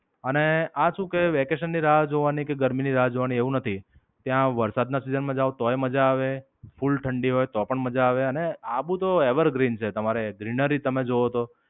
અને આ શું કે વેકેશન ની રાહ જોવાની કે ગરમી ની રાહ જોવાની એવું નથી. ત્યાં વરસાદ ના season માં જાઓ તોયે મજા આવે ફૂલ ઠંડી હોય તો પણ મજા આવે અને આબુ તો Evergreen છે. તમારે Greenery તમે જોવો તો.